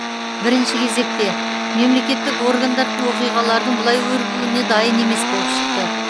бірінші кезекте мемлекеттік органдар оқиғалардың бұлай өрбуіне дайын емес болып шықты